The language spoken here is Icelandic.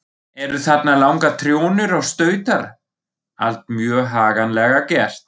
Eru þarna langar trjónur og stautar, allt mjög haganlega gert.